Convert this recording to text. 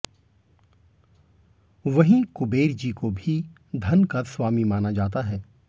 वहीं कुबेरजी को भी धन का स्वामी माना जाता है